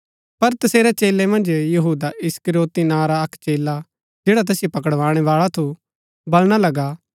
पर तसेरै चेलै मन्ज यहूदा इस्करियोती नां रा अक्क चेला जैडा तैसिओ पकडाणै बाळा थू बलणा लगा